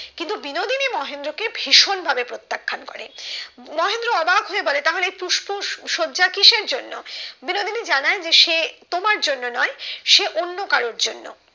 তিনি মহেন্দ্র কে ভীষণ ভাবে প্রত্যাখ্যান করেন মহেন্দ্র অবাক হয়ে বলে তাহেল এই পুস্প সজ্জা কিসের জন্য বিনোদিনী জানায় যে সে তোমার জন্য নয় সে অন্য কারোর জন্য